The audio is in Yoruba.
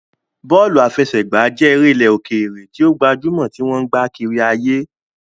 Bọ́ọ̀lù àfẹsẹ̀gbá jẹ́ eré ilẹ̀ òkèèrè tí ó gbajúmọ̀ tí wọ́n ń gbá kárí ayé.